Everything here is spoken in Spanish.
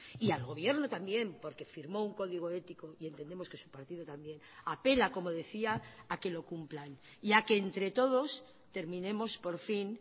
y al gobierno también porque firmó un código ético y entendemos que su partido también apela como decía a que lo cumplan y a que entre todos terminemos por fin